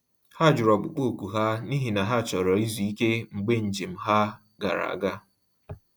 Ha jụrụ ọkpụkpọ oku ha, n’ihi na ha chọrọ izu ike mgbe njem ha gara aga.